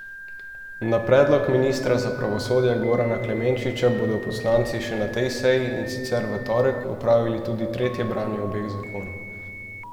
Na predlog ministra za pravosodje Gorana Klemenčiča bodo poslanci še na tej seji, in sicer v torek, opravili tudi tretje branje obeh zakonov.